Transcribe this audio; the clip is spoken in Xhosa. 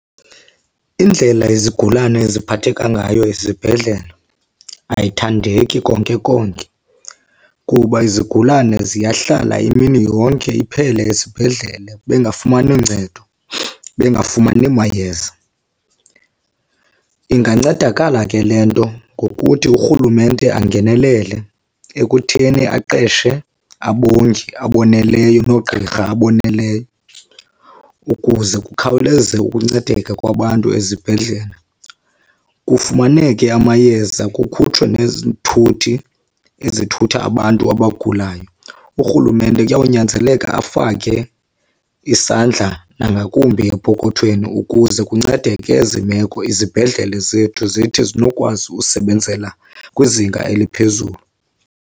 Indlela izigulane eziphathekayo ngayo esibhedlele ayithandeki konke konke, kuba izigulane ziyahlala imini yonke iphele esibhedlele bengafumani ncedo, bengafumani mayeza. Ingancedakala ke le nto ngokuthi urhulumente angenelele ekutheni aqeshe abongi aboneleyo noogqirha aboneleyo ukuze kukhawuleze ukuncedeka kwabantu ezibhedlele, kufumaneke amayeza, kukhutshwe nezithuthi ezithutha abantu abagulayo. Urhulumente kuyawunyanzeleka afake isandla nangakumbi epokothweni ukuze kuncedeke ezi meko, izibhedlele zethu zithi zinokwazi usebenzela kwizinga eliphezulu.